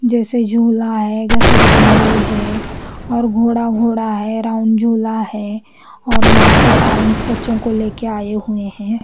जैसे झूला है घसरगुंडी है और घोडा घोडा है राउन्ड झूला है और यहाँ पे पेरेंट्स बच्चो को लेके आए हुए है।